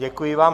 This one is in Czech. Děkuji vám.